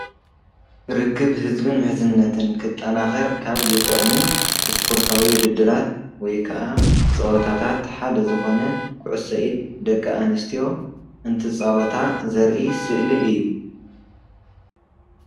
ርክብ ህዝብ ምሕዝነትን ክጣናኸር ካብ ዝጠቕሙ ስፖርታዊ ውድድራት ወይ ከኣ ፀወታታት ሓደ ዝኾነ ኩዕሶ ኢድ ደቂ ኣንስትዮ እንትፃወታ ዘርኢ ስእሊ እዩ፡፡